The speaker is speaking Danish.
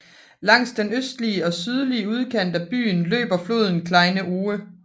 Langs den østlige og sydlige udkant af byen løber floden Kleine Ohe